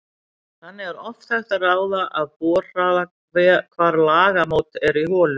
Þannig er oft hægt að ráða af borhraða hvar lagamót eru í holu.